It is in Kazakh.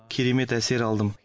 керемет әсер алдым